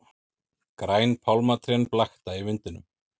Græn pálmatrén blakta í vindinum.